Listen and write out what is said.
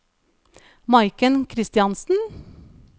Maiken Christiansen